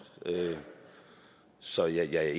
så jeg